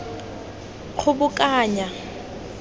kgobokanya